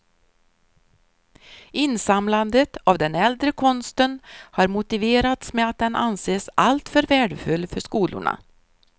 Insamlandet av den äldre konsten har motiverats med att den anses alltför värdefull för skolorna.